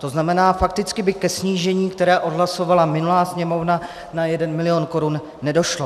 To znamená, fakticky by ke snížení, které odhlasovala minulá Sněmovna, na 1 milion korun nedošlo.